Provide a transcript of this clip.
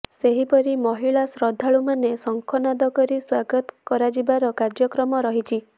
ସେହିପରି ମହିଳା ଶ୍ରଦ୍ଧାଳୁମାନେ ଶଙ୍ଖନାଦ କରି ସ୍ୱାଗତ କରାଯିବାର କାର୍ଯ୍ୟକ୍ରମ ରହିଛି